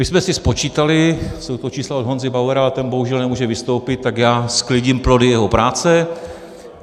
My jsme si spočítali, jsou to čísla od Honzy Bauera a ten bohužel nemůže vystoupit, tak já sklidím plody jeho práce.